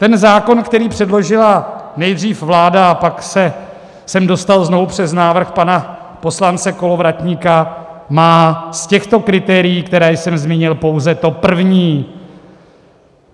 Ten zákon, který předložila nejdřív vláda a pak se sem dostal znovu přes návrh pana poslanci Kolovratníka, má z těchto kritérií, která jsem zmínil, pouze to první.